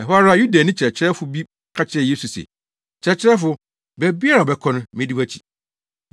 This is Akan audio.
Ɛhɔ ara Yudani kyerɛkyerɛfo bi ka kyerɛɛ Yesu se, “Kyerɛkyerɛfo, baabiara a wobɛkɔ no, medi wʼakyi!”